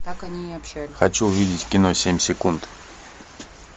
хочу увидеть кино семь секунд